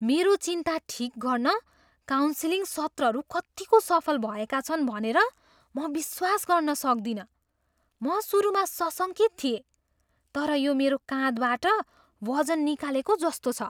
मेरो चिन्ता ठिक गर्न काउन्सिलिङ सत्रहरू कत्तिको सफल भएका छन् भनेर म विश्वास गर्न सक्दिनँ। म सुरुमा सशङ्कित थिएँ, तर यो मेरो काँधबाट वजन निकालेको जस्तो छ।